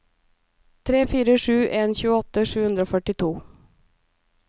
tre fire sju en tjueåtte sju hundre og førtito